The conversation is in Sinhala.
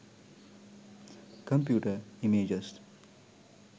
computer images